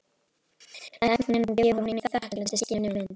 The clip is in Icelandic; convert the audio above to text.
Lækninum gefur hún í þakklætisskyni mynd.